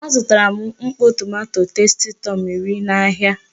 A zụtara m mkpọ tomanto testitọm iri n'ahịa.